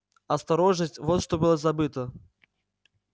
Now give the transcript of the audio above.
осторожность вот что было забыто